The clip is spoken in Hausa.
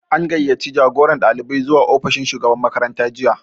An gayyaci jagoran ɗalibai zuwa ofishin shugaban makaranta jiya